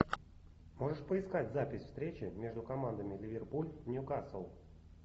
можешь поискать запись встречи между командами ливерпуль ньюкасл